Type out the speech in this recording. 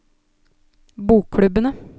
bokklubbene